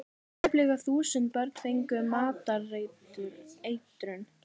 Tæplega þúsund börn fengu matareitrun